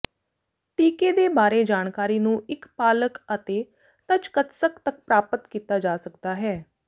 ਟੀਕੇ ਦੇ ਬਾਰੇ ਜਾਣਕਾਰੀ ਨੂੰ ਇੱਕ ਪਾਲਕ ਅਤੇ ਤਚਕੱਤਸਕ ਤੱਕ ਪ੍ਰਾਪਤ ਕੀਤਾ ਜਾ ਸਕਦਾ ਹੈ